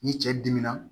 Ni cɛ dimina